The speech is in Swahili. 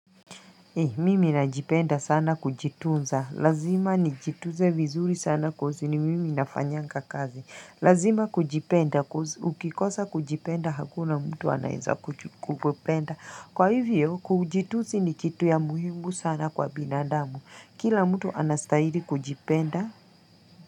Mimi najipenda sana kujitunza, lazima nijitunze vizuri sana kozi ni mimi nafanyanga kazi, lazima kujipenda, ukikosa kujipenda hakuna mtu anaeza kukupenda, kwa hivyo kujitunzi ni kitu ya muhimu sana kwa binadamu, kila mtu anastaili kujipenda.